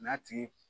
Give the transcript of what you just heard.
N'a tigi